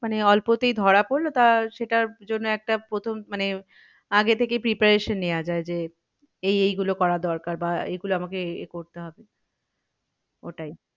মানে অল্পতেই ধরা পড়লো তা সেটার জন্য একটা প্রথম মানে আগে থেকেই preparation নেওয়া যায় যে এই এই গুলো করা দরকার বা এগুলো আমাকে এ করতে হবে ওটাই